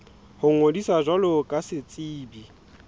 ho ngodisa jwalo ka setsebi